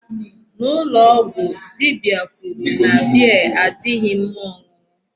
N'ụlọ ọgwụ, dibia kwuru na beer adịghị mma ọṅụṅụ.